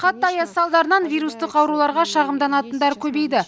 қатты аяз салдарынан вирустық ауруларға шағымданатындар көбейді